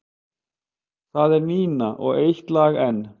Það er Nína og Eitt lag enn.